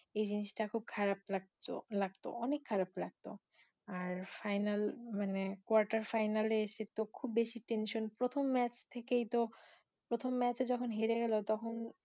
এই জিনিসটা খুব খারাপ লাগতো লাগতো অনেক খারাপ লাগতো আর final মানে quarter final এ এসে তো খুব বেশি tension প্রথম match থেকেই তো, প্রথম match এ যখন হেরে গেলো তখন